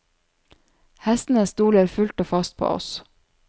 Hestene stoler full og fast på oss.